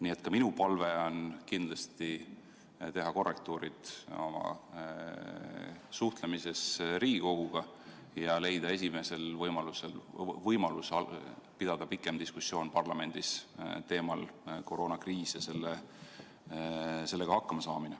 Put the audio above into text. Nii et ka minu palve on kindlasti teha korrektuurid oma suhtlemises Riigikoguga ja leida esimesel võimalusel võimalus pidada pikem diskussioon parlamendis teemal "Koroonakriis ja sellega hakkama saamine".